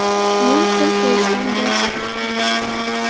Men qo‘l qo‘yishdan bosh tortdim.